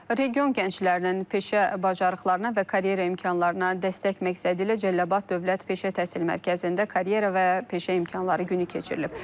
Region gənclərinin peşə bacarıqlarına və karyera imkanlarına dəstək məqsədi ilə Cəlilabad Dövlət Peşə Təhsil Mərkəzində karyera və peşə imkanları günü keçirilib.